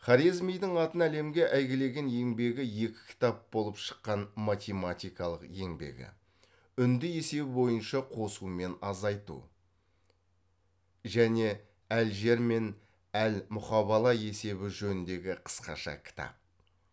хорезмидің атын әлемге әйгілеген еңбегі екі кітап болып шыққан математикалық еңбегі үнді есебі бойынша қосу мен азайту және әл жебр мен әл мұқабала есебі жөніндегі кысқаша кітап